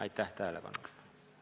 Aitäh tähelepanu eest!